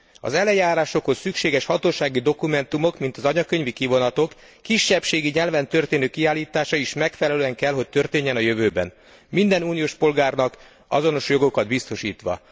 Az eljárásokhoz szükséges hatósági dokumentumok mint az anyakönyvi kivonatok kisebbségi nyelven történő kiállítása is megfelelően kell, hogy történjen a jövőben, minden uniós polgárnak azonos jogokat biztosítva.